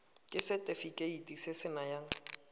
ke setefikeiti se se nayang